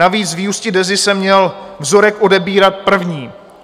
Navíc z vyústí DEZA se měl vzorek odebírat první.